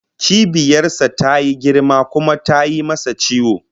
Cibiyar sa tayi girma kuma tayi masa ciwo